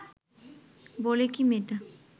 বলে কী মেয়েটা